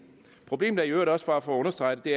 problemet er i øvrigt også bare for at understrege det